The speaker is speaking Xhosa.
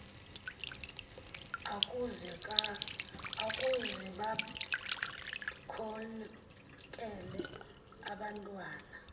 ukuze bakhokele abantwana